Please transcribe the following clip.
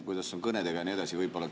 Kuidas on kõnedega ja nii edasi?